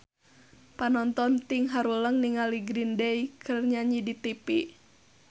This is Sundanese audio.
Panonton ting haruleng ningali Green Day keur nyanyi di tipi